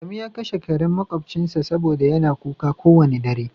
adamu ya kashe karen makobcinsa saboda yana kuka kowane dare.